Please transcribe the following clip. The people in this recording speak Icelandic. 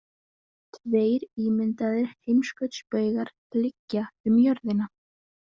Tveir ímyndaðir heimskautsbaugar liggja um jörðina.